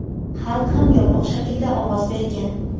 Xalq ham yopiq shaklda ovoz bergan.